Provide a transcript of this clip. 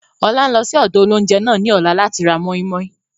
Ọlá ń lọ síí ọ̀dọ̀ óloúnjẹ náà ni ọ̀la láti ra mọ́i-mọ́i